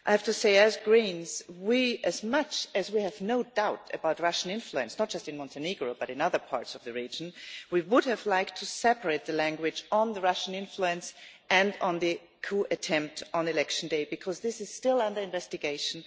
I have to say that, as Greens, although we have no doubt about Russian influence not just in Montenegro but also in other parts of the region we would have liked to separate the language on Russian influence and on the coup attempt on election day, because this is still under investigation.